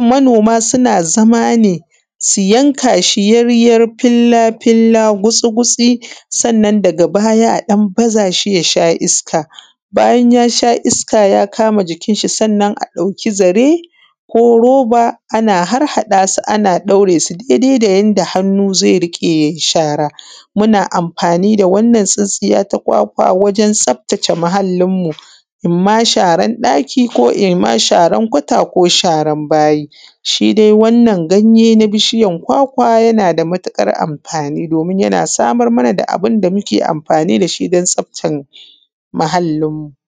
manoma suna zama ne su yaryar filla filla, gutsi gutsi sannan daga baya a baza shi yasha iska, bayan yasha iska ya kama jikin shi sannan a ɗauki zare ko roba ana harhaɗasu ana ɗaure su dai dai da yanda hannu zai riƙe yai shara, muna amfani da wannan tsintsiya ta kwakwa wajen tsaftace muhallin mu imam sharan ɗaki ko imam sharan kwato ko sharan bayi. Shi dai wannan ganye na bishiyan kwakwa yanada matuƙar amfani domin yana samar mana da abunda muke amfani dashi dan tsaftar muhallin mu.